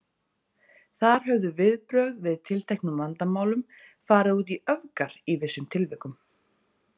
Þar höfðu viðbrögð við tilteknum vandamálum farið út í öfgar í vissum tilvikum.